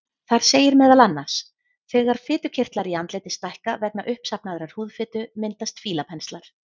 Þar segir meðal annars: Þegar fitukirtlar í andliti stækka vegna uppsafnaðrar húðfitu myndast fílapenslar.